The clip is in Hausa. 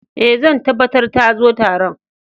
Eh, zan tabatar ta zo Taron.